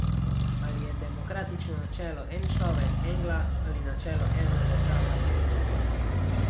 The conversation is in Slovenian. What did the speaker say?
Ali je demokratično načelo en človek en glas ali načelo ena država en glas.